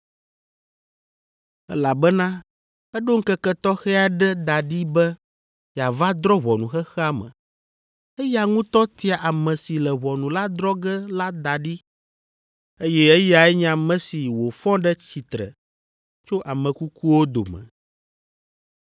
elabena eɖo ŋkeke tɔxɛ aɖe da ɖi be yeava drɔ̃ ʋɔnu xexea me, eya ŋutɔ tia ame si le ʋɔnu la drɔ̃ ge la da ɖi, eye eyae nye ame si wòfɔ ɖe tsitre tso ame kukuwo dome.”